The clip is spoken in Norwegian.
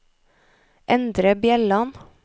Endre Bjelland